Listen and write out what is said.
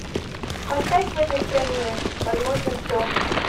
поставь в этой стране возможно все